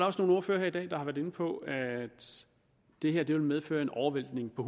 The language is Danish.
også nogle ordførere her i dag der har været inde på at det her vil medføre en overvæltning på